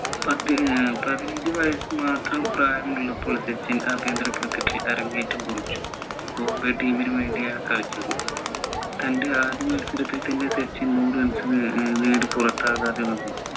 പതിനഞ്ചു വയസു മാത്രം പ്രായമുള്ളപ്പോൾ സച്ചിൻ ആഭ്യന്തര cricket ൽ അരങ്ങേറ്റം കുറിച്ചു ബോംബെ team നു വേണ്ടി ആൺ കളിച്ചത് തൻ്റെ ആദ്യ മത്സരത്തിൽ തന്നെ സച്ചിൻ നൂറ് runs നു ഏർ നേടി പുറത്താകാതെ നിന്നു